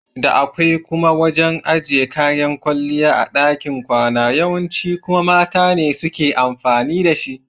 Da akwai kuma wajan ajiye kayan kwalliya a ɗakin kwana yawanci kuma mata ne suke amfani da shi.